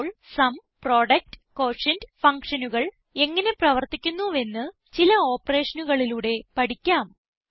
ഇപ്പോൾ sum product quotient ഫങ്ഷനുകൾ എങ്ങനെ പ്രവർത്തിക്കുന്നുവെന്ന് ചില ഓപ്പറേഷനുകളിലൂടെ പഠിക്കാം